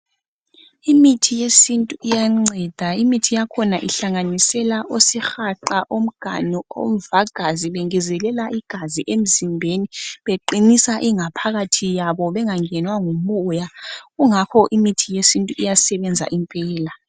Imithi yesintu iyanceda imithi yakhona ihlanganisela osihaqa, omganu, omvagazi bengezelela igazi emzimbezi beqinisa ingaphakathi yabo bengangenwa ngumoya kungakho imithi yesintu iyasebenza impela.